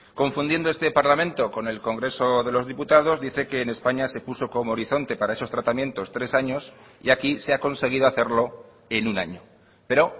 confundiendo este parlamento con el congreso de los diputados dice que en españa se puso como horizonte para esos tratamientos tres años y aquí se ha conseguido hacerlo en un año pero